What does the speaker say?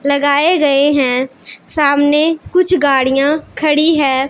लगाए गएं हैं सामने कुछ गाड़ियां खड़ी हैं।